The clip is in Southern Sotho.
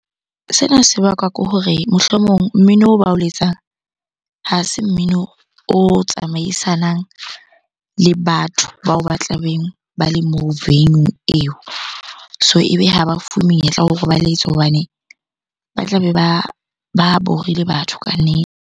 Sena se bakwa ke hore mohlomong mmino oo ba o letsang, ha se mmino o tsamaisanang le batho bao ba tla beng ba le moo venue-ung eo. So ebe ha ba fuwe menyetla wa hore ba letse hobane ba tlabe ba borile batho kannete.